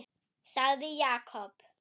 sagði Jakob.